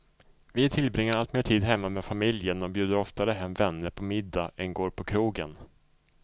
Vi tillbringar alltmer tid hemma med familjen och bjuder oftare hem vänner på middag än går på krogen.